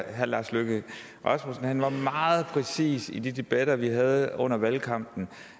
at herre lars løkke rasmussen var meget præcis i de debatter vi havde under valgkampen